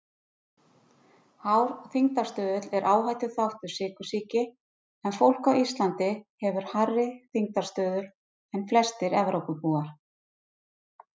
Hár þyngdarstuðull er áhættuþáttur sykursýki en fólk á Íslandi hefur hærri þyngdarstuðul en flestir Evrópubúar.